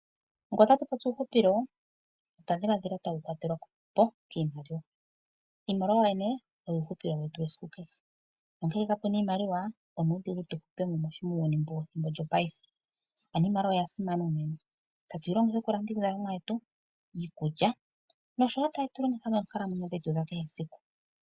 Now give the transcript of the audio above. Ngele otatu popi uuhupilo otwa dhiladhila tawu kwatelwa po kiimaliwa. Iimaliwa yoyene oyo uuhupilo wetu wesiku kehe. Ngele kapu na iimaliwa, onuudhigu tu hupe unene muuyuni wethimbo lyetu lyopaife. Iimaliwa oya simana unene, tatu yi longitha okulanda iizalomwa yetu, iikulya noshowo tatu yi longitha moonkalamwenyo dhetu dha kehe esiku.